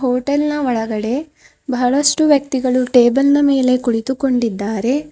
Hotel ನ ಒಳಗಡೆ ಬಹಳಷ್ಟು ವ್ಯಕ್ತಿಗಳು ಟೇಬಲ್ ನ ಮೇಲೆ ಕುಳಿತುಕೊಂಡಿದ್ದಾರೆ.